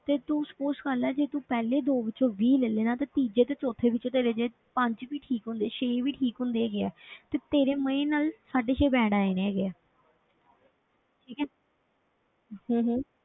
ਤੇ ਤੂੰ suppose ਕਰ ਲਾ ਜੇ ਤੂੰ ਪਹਿਲੇ ਦੋ ਵਿੱਚੋਂ ਵੀਹ ਲੈ ਲਏ ਨਾ ਤੇ ਤੀਜੇ ਤੇ ਚੌਥੇ ਵਿੱਚੋਂ ਤੇਰੇ ਜੇ ਪੰਜ ਵੀ ਠੀਕ ਹੁੰਦੇ ਛੇ ਵੀ ਠੀਕ ਹੁੰਦੇ ਹੈਗੇ ਆ ਤੇ ਤੇਰੇ ਮਜ਼ੇ ਨਾਲ ਸਾਢੇ ਛੇ band ਆ ਜਾਣੇ ਹੈਗੇ ਆ ਠੀਕ ਹੈ ਹਮ ਹਮ